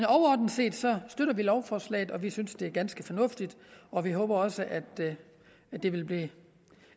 overordnet set støtter vi lovforslaget og vi synes det er ganske fornuftigt og vi håber også at det vil blive